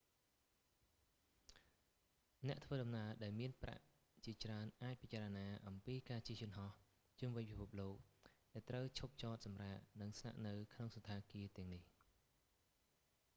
អ្នកធ្វើដំណើរ ដែលមានប្រាក់ជាច្រើនអាចពិចារណាអំពីការជិះយន្តហោះជុំវិញពិភពលោក ដែលត្រូវឈប់ចតសម្រាក និងស្នាក់នៅក្នុងសណ្ឋាគារទាំងនេះ